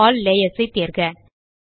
show all layers ஐ தேர்க